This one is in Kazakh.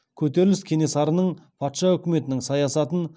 көтеріліс кенесарының патша үкіметінің саясатын